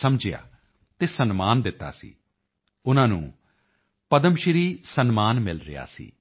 ਸਮਝਿਆ ਅਤੇ ਸਨਮਾਨ ਦਿੱਤਾ ਸੀ ਉਨ੍ਹਾਂ ਨੂੰ ਪਦਮਸ਼੍ਰੀ ਸਨਮਾਨ ਮਿਲ ਰਿਹਾ ਸੀ